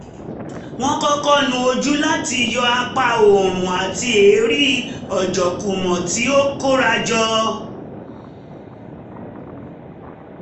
wọ́n kọ́kọ́ nu ojú láti yọ àpá oòrùn àti èérí ojookúmọ́ tí ó kórajọ